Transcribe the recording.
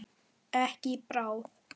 Ekki í bráð.